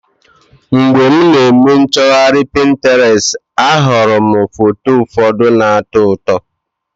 Mgbe m na-eme nchọgharị Pinterest, ahụrụ m foto ụfọdụ na-atọ ụtọ.